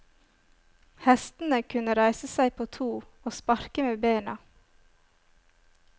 Hestene kunne reise seg på to og sparke med bena.